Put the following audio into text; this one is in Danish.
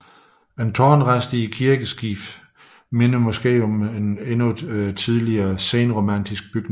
En tårnrest i kirkeskibet minder måske om en endnu tidligere senromansk bygning